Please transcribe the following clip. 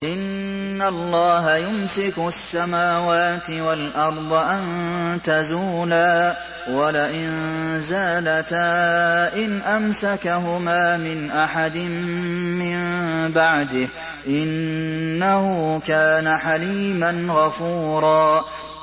۞ إِنَّ اللَّهَ يُمْسِكُ السَّمَاوَاتِ وَالْأَرْضَ أَن تَزُولَا ۚ وَلَئِن زَالَتَا إِنْ أَمْسَكَهُمَا مِنْ أَحَدٍ مِّن بَعْدِهِ ۚ إِنَّهُ كَانَ حَلِيمًا غَفُورًا